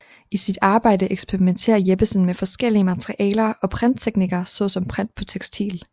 I sit arbejde eksperimenterer Jeppesen med forskellige materialer og printteknikker såsom print på tekstil